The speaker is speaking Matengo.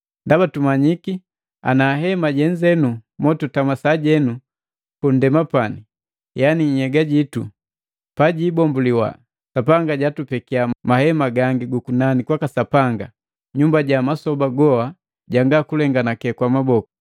Ndaba tumanyiki ana hema jenze motutama sajenu pundema pani yani nhnhyega jitu, pajiibombuliwa, Sapanga jatupekiya mahema gangi gukunani kwaka Sapanga, nyumba ja masoba goa janga kulenganake kwa maboku.